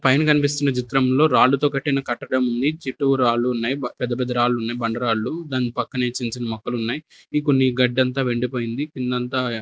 పైన కన్పిస్తున్న చిత్రంలో రాళ్ళు తో కట్టిన కట్టడం ఉంది చుట్టూ రాలు ఉన్నాయి ప పెద్ద పెద్ద రాళ్ళునాయ్ బండరాళ్లు దాని పక్కనే చిన్ చిన్న మొక్కలున్నాయ్ ఇంకొన్ని గడ్డంతా వెండిపోయింది కిందంతా --